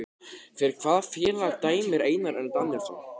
Fyrir hvaða félag dæmir Einar Örn Daníelsson?